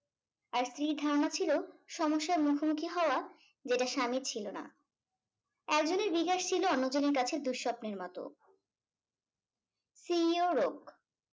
আর স্ত্রীর ধারণা ছিল সমস্যার মুখোমুখি হওয়া যেটা স্বামীর ছিল না একজনের জিজ্ঞাসা ছিল অন্যজনের কাছে দুঃস্বপ্নের মতো .